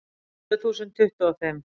Tvö þúsund tuttugu og fimm